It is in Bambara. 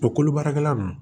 O kolo baarakɛla nunnu